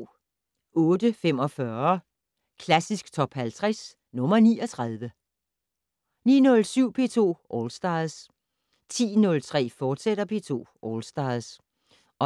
08:45: Klassisk Top 50 - nr. 39 09:07: P2 All Stars 10:03: P2 All Stars, fortsat